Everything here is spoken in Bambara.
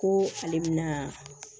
Ko ale bɛna